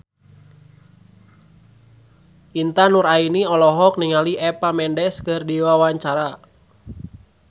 Intan Nuraini olohok ningali Eva Mendes keur diwawancara